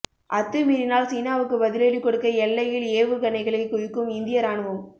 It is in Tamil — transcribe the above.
அத்துமீறினால் சீனாவுக்கு பதிலடி கொடுக்க எல்லையில் ஏவுகணைகளை குவிக்கும் இந்திய ராணுவம்